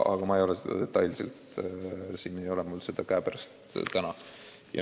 Aga detailset plaani mul täna käepärast ei ole.